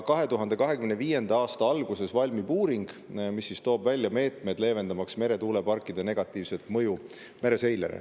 2025. aasta alguses valmib uuring, mis toob välja meetmed, leevendamaks meretuuleparkide negatiivset mõju mereseirele.